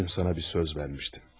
Dün sana bir söz vermişdim.